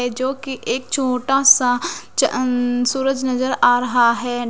ऐ जोकि एक छोटा सा चँअनन्न सूरज नजर आ रहा है।